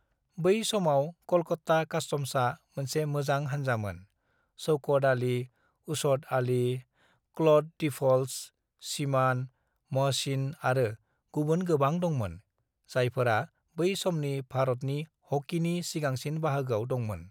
"बै समाव कलकत्ता कास्तम्सआ मोनसे मोजां हानजामोन - शौकत आली, असद आली, क्लड डीफल्ट्स, सीमान, महसिन आरो गुबुन गोबां दंमोन, जायफोरा बै समनि भारतनि हकीनि सिगांसिन बाहागोआव दंमोन।"